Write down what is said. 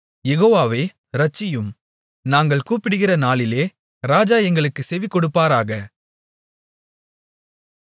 யெகோவாவே இரட்சியும் நாங்கள் கூப்பிடுகிற நாளிலே ராஜா எங்களுக்குச் செவிகொடுப்பாராக